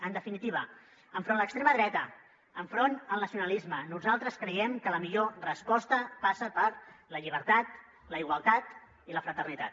en definitiva enfront de l’extrema dreta enfront del nacionalisme nosaltres creiem que la millor resposta passa per la llibertat la igualtat i la fraternitat